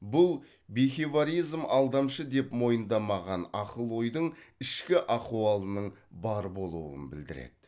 бұл алдамшы деп мойындамаған ақыл ойдың ішкі ахуалының бар болуын білдіреді